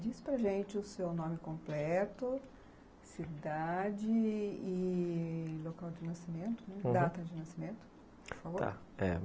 Diz para gente o seu nome completo, cidade e e local de nascimento, aham, data de nascimento, por favor. Tá.